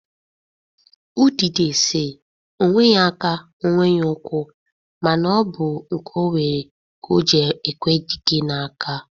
Udide si, onweghi aka, onweghi ụkwụ ma na obu nke onwere ka oji ekwe dike na-aka.